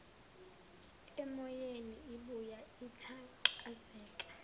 emoyeni ibuya ithanqazeka